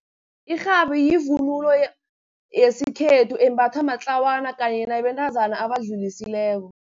Irhabi yivunulo yesikhethu, embathwa matlawana kanye nabentazana abadlulisileko.